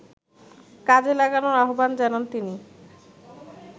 কাজে লাগানোর আহ্বান জানান তিনি